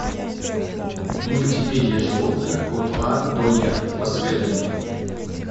мультипедия животных от а до я посоветуй мне